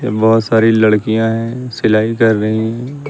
बहोत सारी लड़कियां हैं सिलाई कर रही हैं।